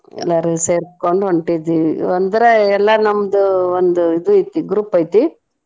ಎಲ್ಲಾರು ಸೇರ್ಕೊಂಡ್ ಹೊಂಟಿದ್ದೀವಿ ಒಂದರ ಎಲ್ಲಾರ್ ನಮ್ದು ಒಂದ್ ಇದು ಐತಿ group ಐತಿ.